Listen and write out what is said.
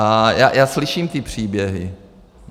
A já slyším ty příběhy.